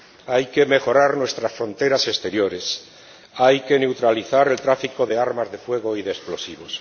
Hay que mejorar nuestras fronteras exteriores, hay que neutralizar el tráfico de armas de fuego y de explosivos.